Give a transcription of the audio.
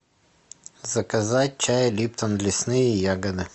заказать чай липтон лесные ягоды